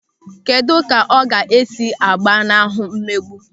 Kedụ ka ọ ga-esi gbanahụ mmegbu?